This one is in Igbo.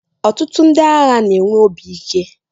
ọtụtụ ndị agha na-enwe obi ike